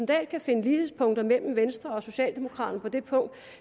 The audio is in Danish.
dahl kan finde lighedspunkter mellem venstre og socialdemokraterne på